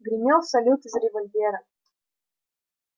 гремел салют из револьвера